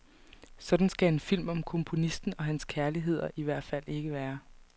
Sådan skal en film om komponisten og hans kærligheder i al fald ikke være.